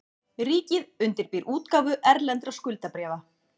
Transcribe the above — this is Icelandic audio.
Ríkið undirbýr útgáfu erlendra skuldabréfa